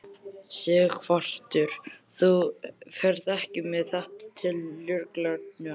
Sighvatur: Þú ferð ekki með þetta til lögreglunnar?